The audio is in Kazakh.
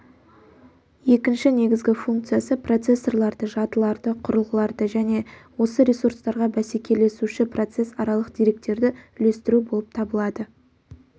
екінші негізгі функциясы процессорларды жадыларды құрылғыларды және осы ресурстарға бәсекелесуші процесс аралық деректерді үлестіру болып табылады